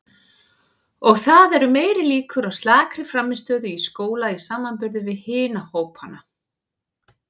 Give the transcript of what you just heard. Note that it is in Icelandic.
Og það eru meiri líkur á slakri frammistöðu í skóla í samanburði við hina hópana.